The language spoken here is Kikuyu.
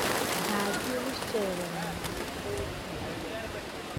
Ndathiĩ gũcerera mami mũnjiari